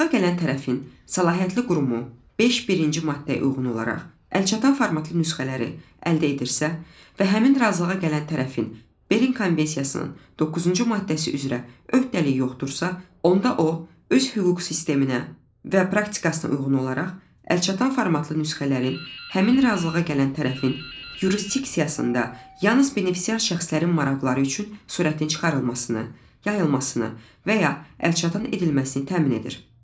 Razılığa gələn tərəfin səlahiyyətli qurumu beş birinci maddəyə uyğun olaraq əlçatan formatlı nüsxələri əldə edirsə və həmin razılığa gələn tərəfin Berlin Konvensiyasının doqquuncu maddəsi üzrə öhdəliyi yoxdursa, onda o, öz hüquq sisteminə və praktikasına uyğun olaraq əlçatan formatlı nüsxələrin həmin razılığa gələn tərəfin yurisdiksiyasında yalnız benefisiar şəxslərin maraqları üçün sürətin çıxarılmasını, yayılmasını və ya əlçatan edilməsini təmin edir.